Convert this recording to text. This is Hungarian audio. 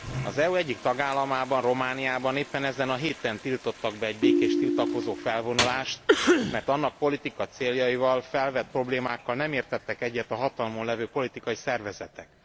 Az EU egyik tagállamában, Romániában éppen ezen a héten tiltottak be egy békés tiltakozó felvonulást, mert annak politikai céljaival, a felvetett problémákkal nem értettek egyet a hatalmon lévő politikai szervezetek.